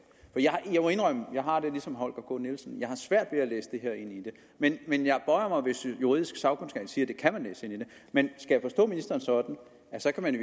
jeg har det ligesom herre holger k nielsen at jeg har svært ved at læse det her ind i det men men jeg bøjer mig hvis juridisk sagkundskab siger at det kan man læse ind i det men skal jeg forstå ministeren sådan at så kan man i